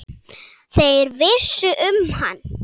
Þeir vissu um hann.